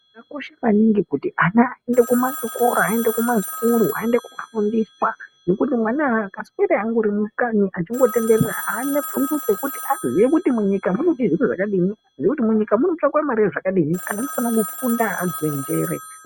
Zvakakosha maningi kuti ana aende kumachikora aende kumasikuru aende kofundiswa ngekuti mwana akaswera ari mukanyi echingotenderera aana pfungwa dzekuti aziye kuti munyika munode zviro zvakadini ngekuti munyika munotsvakwe mare zvakadini. Anhu anofanira kufunda arodze njere.